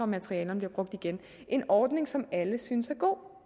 materialerne bliver brugt igen en ordning som alle synes er god